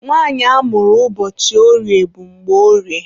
Nwanyị amụrụ ụbọchị orie bụ Mgborie.